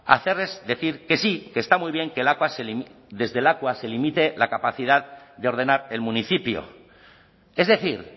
a hacerles decir que sí que está muy bien que lakua se desde lakua se limite la capacidad de ordenar el municipio es decir